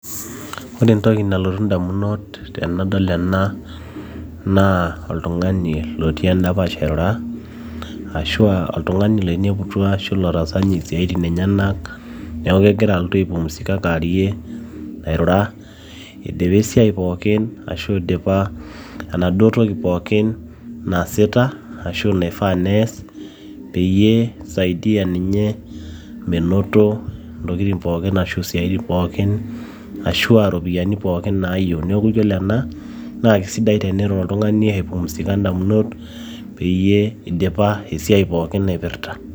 ore entoki nalotu indamunot tenadol ena naa oltung'ani lotii endapash airura ashua oltung'ani loineputua ashu lotaasa ninye isiaitin enyenak neeku kegira alotu aipumusika kaarie airrura idipa esiai pookin ashu idipa enaduo toki pookin naasita ashu naifaa nees peyie isaidia ninye menoto intokitin pookin ashu isiaitin pookin ashua ropiyiani pookin nayieu neeku yiolo ena naa kisidai tenirura oltung'ani aipumusika indamunot peyie idipa esiai pookin naipirrta.